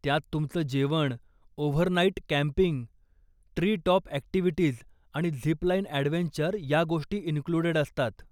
त्यात तुमचं जेवण, overnight camping, tree top activities आणि झिप लाइन ॲडव्हेंचर या गोष्टी इनक्लुडेड असतात.